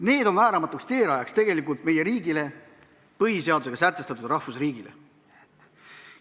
Need on vääramatuks teerajajaks meie riigile, põhiseadusega sätestatud rahvusriigile.